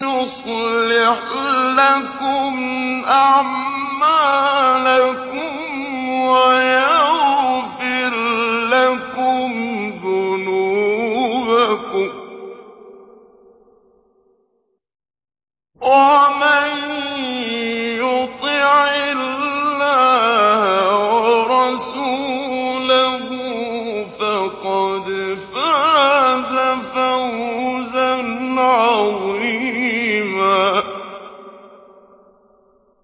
يُصْلِحْ لَكُمْ أَعْمَالَكُمْ وَيَغْفِرْ لَكُمْ ذُنُوبَكُمْ ۗ وَمَن يُطِعِ اللَّهَ وَرَسُولَهُ فَقَدْ فَازَ فَوْزًا عَظِيمًا